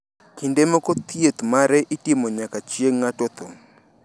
Kinde moko thieth mare itimo nyaka chieng` ng`ato tho.